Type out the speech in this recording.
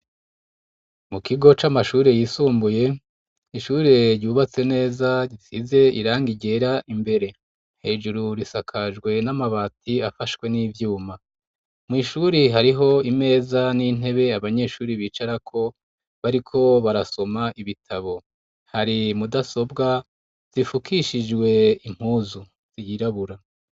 Mu kigo c'amashuri yisumbuye ishuri ryubatse neza risize iranga igera imbere hejuru risakajwe n'amabati afashwe n'ivyuma mw'ishuri hariho imeza n'intebe abanyeshuri bicarako bariko barasoma ibitabo hari mudasobwa zifukishijwe impuzu ziyirabura.